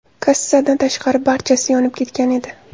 Kassadan tashqari, barchasi yonib ketgan edi.